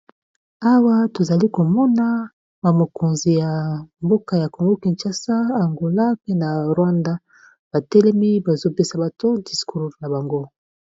Awa tozali komona ba mokonzi ya mboka ya Congo Kinshasa, Angola pe na Rwanda batelemi bazopesa bato discour na bango.